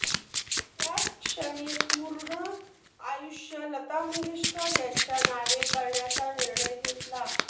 त्याचक्षणी पूर्ण आयुष्य लता मंगेशकर यांच्या नावे करण्याचा निर्णय घेतला